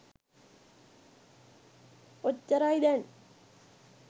ඔච්චරයි දැන්